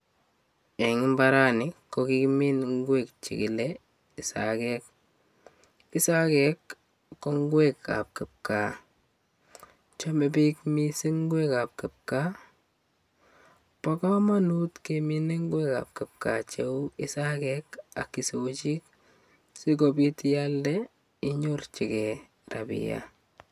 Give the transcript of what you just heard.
Eng' imbarani ko kikimiin ingwek chekile isagek isagek ko ngwekab kipkaa chomei biik mising' ngwekab kipkaa bo kamanut kemin ngwek ab kipkaa cheu isakek ak isochik sikobit ialde inyorchigei chepkondok